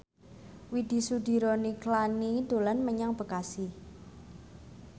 Widy Soediro Nichlany dolan menyang Bekasi